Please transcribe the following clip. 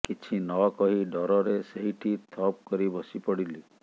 କିଛି ନ କହି ଡରରେ ସେଇଠି ଥପ କରି ବସି ପଡିଲି